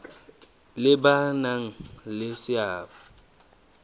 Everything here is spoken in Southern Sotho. le ba nang le seabo